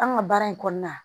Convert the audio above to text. An ka baara in kɔnɔna na